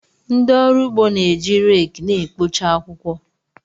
Ndị ọrụ ugbo na-eji rake na-ekpocha akwụkwọ.